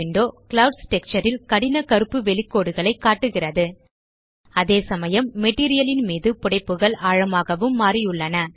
clouds texture ல் கடின கருப்பு வெளிகோடுகளை காட்டுகிறது அதேசமயம் மெட்டீரியல் ன் மீது புடைப்புகள் ஆழமாகவும் மாறியுள்ளன